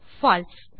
பால்சே